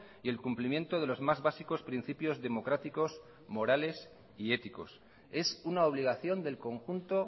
y el cumplimiento de los más básicos principios democráticos morales y éticos es una obligación del conjunto